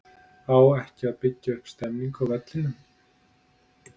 Á ekki að vera að byggja upp stemningu á vellinum??